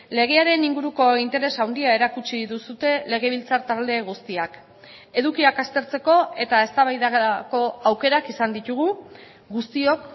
legearen inguruko interes handia erakutsi duzue legebiltzar talde guztiak edukiak aztertzeko eta eztabaidako aukerak izan ditugu guztiok